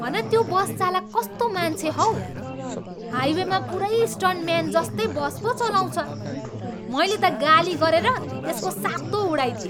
हन त्यो बस चालक कस्तो मान्छे हौ! हाइवेमा पुरै स्टन्टम्यान जस्तै बस पो चलाउँछ। मैले त गाली गरेर त्यसको सातो उडाइदिएँ।